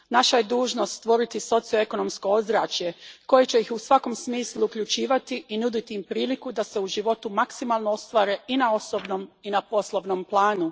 Naša je dužnost stvoriti socioekonomsko ozračje koje će ih u svakom smislu uključivati i nuditi im priliku da se u životu maksimalno ostvare i na osobnom i na poslovnom planu.